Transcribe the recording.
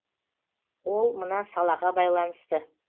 ол мына салаға байланысты